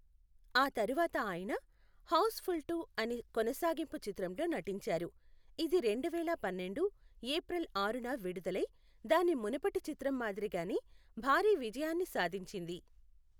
ఆ తరువాత ఆయన హౌస్ఫుల్ టు అనే కొనసాగింపు చిత్రంలో నటించారు, ఇది రెండు వేల పన్నెండు ఏప్రిల్ ఆరున విడుదలై దాని మునుపటి చిత్రం మాదిరిగానే భారీ విజయాన్ని సాధించింది.